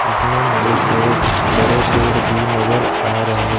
इसमें मुझे कुछ बड़े पेड़ भी नजर आ रहे--